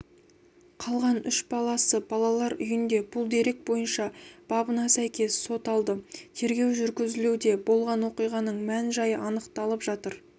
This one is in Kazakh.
қалған үш баласы балалар үйінде бұл дерек бойынша бабына сәйкес сот алды тергеу жүргізілуде болған оқиғаның мән-жайы анықталып жатыр